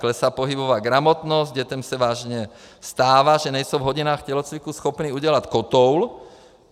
Klesá pohybová gramotnost, dětem se vážně stává, že nejsou v hodinách tělocviku schopny udělat kotoul.